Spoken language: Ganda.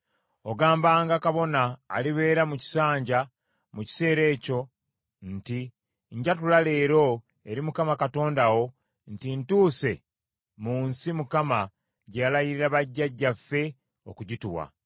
Ogambanga kabona alibeera mu kisanja mu kiseera ekyo nti, “Njatula leero eri Mukama Katonda wo nti ntuuse mu nsi Mukama gye yalayirira bajjajjaffe okugituwa.”